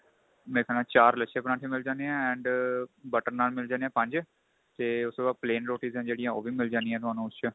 ਮੇਰੇ ਖਿਆਲ ਨਾਲ ਚਾਰ ਲਛੇ ਪਰਾਂਠੇ ਮਿਲ ਜਾਨੇ ਏ and butter ਨਾਨ ਮਿਲ ਜਾਨੇ ਏ ਪੰਜ ਤੇ ਉਸ ਤੋਂ ਬਾਅਦ plain roti's ਏ ਜਿਹੜੀਆ ਉਹ ਵੀ ਮਿਲ ਜਾਂਦੀਆ ਤੁਹਾਨੂੰ ਉਸ ਚ